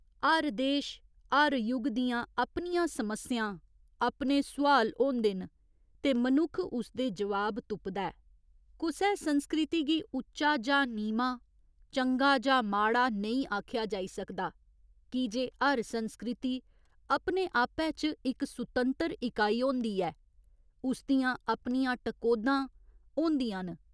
हर देश, हर युग दियां अपनियां समस्यां, अपने सुआल होंदे न ते मनुक्ख उसदे जवाब तुपदा ऐ, कुसै संस्कृति गी उच्चा जां नीमां, चंगा जां माड़ा नेईं आखेआ जाई सकदा की जे हर संस्कृति अपने आपै च इक सुतंतर इकाई होंदी ऐ, उस दियां अपनियां टकोह्दां होंदियां न।